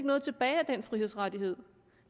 noget tilbage af den frihedsrettighed